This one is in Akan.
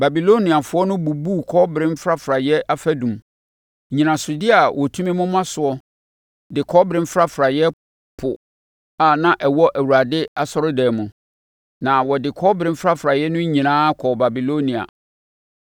Babiloniafoɔ no bubuu kɔbere mfrafraeɛ afadum, nnyinasodeɛ a wɔtumi moma soɔ ne kɔbere mfrafraeɛ Po a na ɛwɔ Awurade asɔredan mu, na wɔde kɔbere mfrafraeɛ no nyinaa kɔɔ Babilonia.